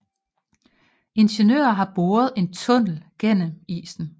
Ingeniører har boret en tunnel gennem isen